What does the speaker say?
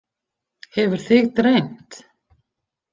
Hefur þig dreymt?